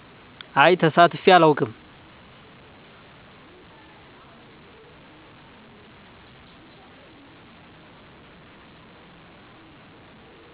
አይ ተሳትፌ አላውቅም